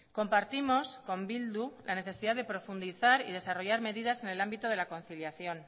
compartimos con bildu la necesidad de profundizar y desarrollar medidas en el ámbito de la conciliación